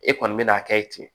E kɔni bɛ n'a kɛ ye ten